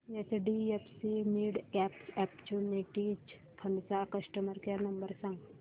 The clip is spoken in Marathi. एचडीएफसी मिडकॅप ऑपर्च्युनिटीज फंड चा कस्टमर केअर नंबर सांग